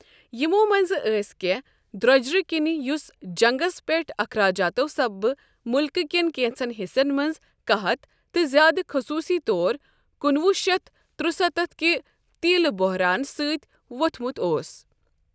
یِمو منزٕ ٲسۍ کٮ۪نٛہہ دروجرٕ كِنی یۄس جنٛگس پٮ۪ٹھ اخراجاتو سببہٕ ،ملكہٕ كین كینژن حِصن منز قحط تہٕ زیٛادٕ خصوٗسی طور کُنوُہ شیتھ ترستتھ كہِ تیلہٕ بوہران سٕتۍ ووٚتھمُت اوس۔